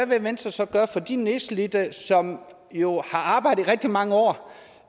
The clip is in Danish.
vil venstre så gøre for de nedslidte som jo har arbejdet i rigtig mange år